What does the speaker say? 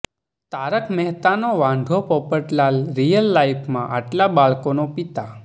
તારક મહેતાનો વાંઢો પોપટલાલ રિયલ લાઈફમાં આટલા બાળકોનો પિતા